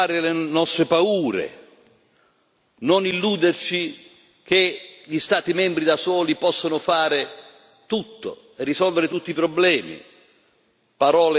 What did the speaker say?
Lei ha detto che dobbiamo superare le nostre paure, di non illuderci che gli Stati membri, da soli, possono fare tutto e risolvere tutti i problemi.